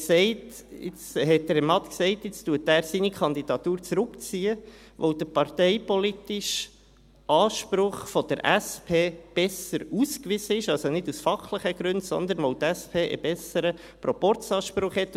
Deshalb hat Herr Matt gesagt, dass er seine Kandidatur zurückzieht, weil der parteipolitische Anspruch der SP besser ausgewiesen ist, also nicht aus fachlichen Gründen, sondern weil die SP einen besseren Proporzanspruch hat.